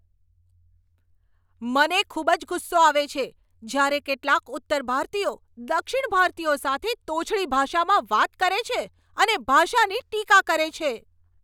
મને ખૂબ જ ગુસ્સો આવે છે જ્યારે કેટલાક ઉત્તર ભારતીયો દક્ષિણ ભારતીયો સાથે તોછડી ભાષામાં વાત કરે છે અને ભાષાની ટીકા કરે છે.